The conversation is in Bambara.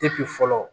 fɔlɔ